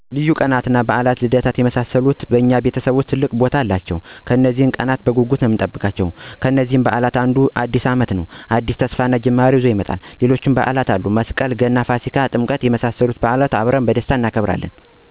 ልዩ ቀናትን እንደ በዓላት እና ልደት የመሳሰሉት ክብረበዓላት በእኛ ቤተሰብ ውስጥ ትልቅ ቦታ አላቸው። እኛም እነዚህን ቀናት በጉጉት እና በናፍቆት ነው የምንጠብቃቸው። ለምሳሌ፦ ከበዓላት ዉስጥ አዲስ አመትን ብንመለከት አዲስ ተስፋ እና አዲስ ህይወትን፤ ይሄም ማለት ለተማሪው ወደ ሌላ የትምህርት ወይም የኑሮ ደረጃ ስለሚሸጋገር በይበልጥ የሚወደድ በዓል ነው። ሌሎችም በዓላት አንደ፦ መስቀል፣ ገና፣ ፋሲካ እና ጥምቀት ደግሞ የሃይማኖታዊ በዓላት ስለሆኑ በይበልጥ ወደ ቤተክርስቲያን በመሄድ እና ዘመድ አዝማድ ጋር በደስታ ይከበራል።